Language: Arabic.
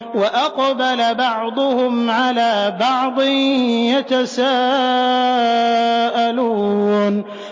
وَأَقْبَلَ بَعْضُهُمْ عَلَىٰ بَعْضٍ يَتَسَاءَلُونَ